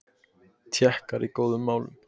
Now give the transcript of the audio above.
Tékkar í góðum málum